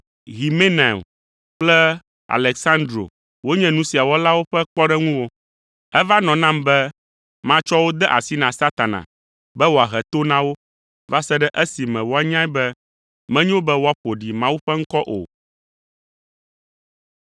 Himenaio kple Aleksandro wonye nu sia wɔlawo ƒe kpɔɖeŋuwo. Eva nɔ nam be matsɔ wo de asi na Satana be woahe to na wo va se ɖe esime woanyae be menyo be woaƒo ɖi Mawu ƒe ŋkɔ o.